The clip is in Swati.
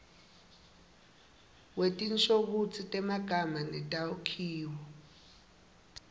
wetinshokutsi temagama netakhiwo